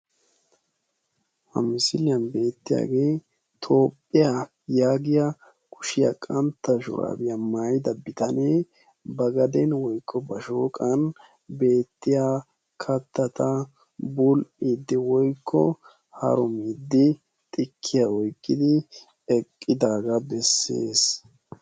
ha miisiliyaan beetiyaagee toophphiyaan yaagiyaan kuushiyaa qantta shuraabiyaa maayidda bitanee ba gaaden woykko ba shooqan beetiyaa kattata bul'iddi woykko harumiiddi xiikkiya oyqqidi eeqidaagaa beesses.